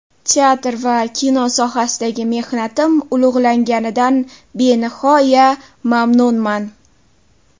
Teatr va kino sohasidagi mehnatim ulug‘langanidan benihoya mamnunman.